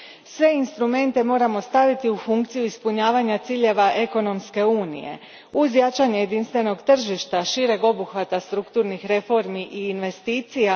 Sve instrumente moramo staviti u funkciju ispunjavanja ciljeva ekonomske unije uz jačanje jedinstvenog tržišta šireg obuhvata strukturnih reformi i investicija.